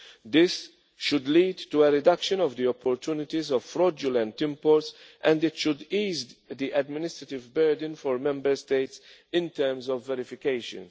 controls. This should lead to a reduction in the opportunities for fraudulent imports, and it should ease the administrative burden for Member States in terms of verifications.